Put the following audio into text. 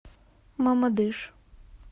мамадыш